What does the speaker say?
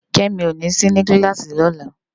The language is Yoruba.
Kemi ó ni si ni kilási lòlá